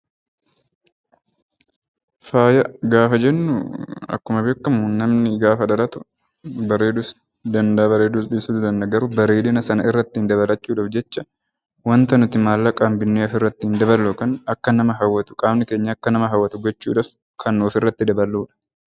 Faaya gaafa jennu akkuma beekamu namni gaafa dhalatu bareeduu bareeduus dhiisuu danda'a. Bareedina sanarratti dabalachuuf jecha wanta nuti maallaqaan binnee ofirratti daballu qaamni keenya Akka nama hawwatu gochuudhaaf kan ofirratti daballudha.